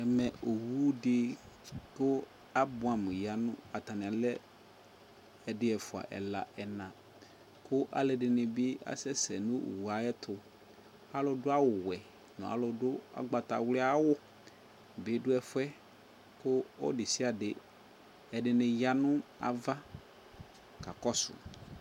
Ɛmɛ owudɩ kʋ abʋamʋ ya nʋ , atani alɛ ɛdɩ, ɛfʋa , ɛla , ɛna; kʋ alʋɛdɩnɩ bɩ asɛ sɛ nʋ owue ayɛtʋ Alʋ dʋ awʋwɛ , n'alʋ dʋ ʋgbawlɩawʋ bɩ dʋ ɛfʋɛ, kʋ ɔlʋ (desiade) ɛdɩnɩ ya nʋ ava ka kɔsʋ